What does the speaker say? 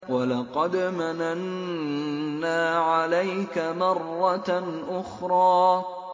وَلَقَدْ مَنَنَّا عَلَيْكَ مَرَّةً أُخْرَىٰ